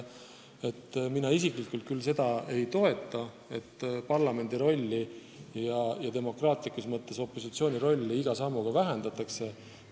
Mina isiklikult seda ei toeta, et parlamendi ja demokraatia mõttes opositsiooni rolli iga sammuga vähendatakse.